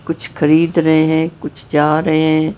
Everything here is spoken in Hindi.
कुछ खरीद रहे है कुछ जा रहे हैं।